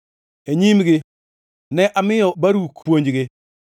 “E nyimgi ne amiyo Baruk puonjgi: